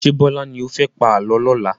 Ṣé Bọlá ni ó fẹ́ pa àálọ́ lọ́la?